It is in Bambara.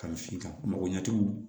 Ka misi ta mɔgɔ ɲɛtugu